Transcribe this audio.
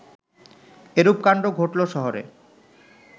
এরূপ কাণ্ড ঘটল শহরে